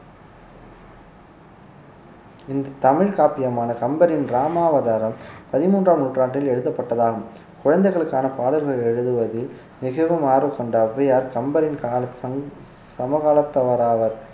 இந்த தமிழ் காப்பியமான கம்பரின் ராமாவதாரம் பதிமூன்றாம் நூற்றாண்டில் எழுதப்பட்டதாகும் குழந்தைகளுக்கான பாடல்கள் எழுதுவதில் மிகவும் ஆர்வம் கொண்ட அவ்வையார் கம்பரின் கால~ சமகாலத்தவராவர்